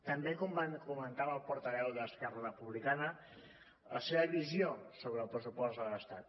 també comentava el portaveu d’esquerra republicana la seva visió sobre el pressupost de l’estat